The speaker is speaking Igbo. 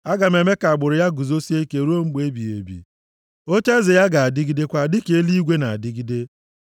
Aga m eme ka agbụrụ ya guzosie ike ruo mgbe ebighị ebi, ocheeze ya ga-adịgidekwa dịka eluigwe na-adịgide.